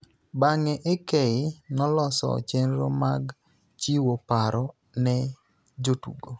Bang�e, AK noloso chenro mag chiwo paro ne jotugo,